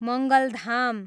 Mangaldham